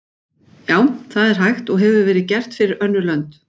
Já, það er hægt og hefur verið gert fyrir önnur lönd.